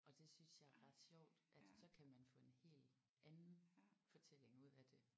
Og det synes jeg er ret sjovt at så kan man få en helt anden fortælling ud af det